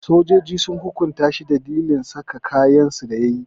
Sojojin sun hukunta shi dalilin saka kayansu da yayi.